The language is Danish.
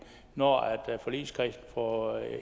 når forligskredsen får